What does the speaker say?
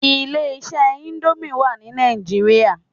Ilé iṣẹ́ íńdómì wà ní Nàìjíríà.